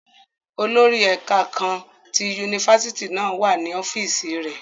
Olori ẹka kaan ti unifásitì náa wa ni ọfiisi rẹ.